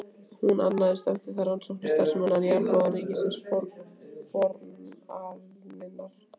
Hún annaðist eftir það rannsóknastarfsemina, en Jarðboranir ríkisins boranirnar.